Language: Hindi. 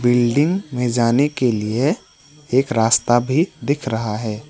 बिल्डिंग में जाने के लिए एक रास्ता भी दिख रहा है।